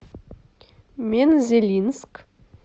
мензелинск